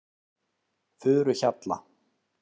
Furuhjalla